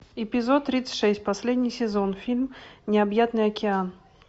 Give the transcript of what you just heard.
эпизод тридцать шесть последний сезон фильм необъятный океан